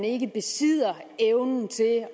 ikke besidder evnen til at